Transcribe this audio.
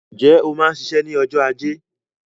Ǹjẹ́ o máa ń ṣiṣẹ́ ní ọjọ́ ajé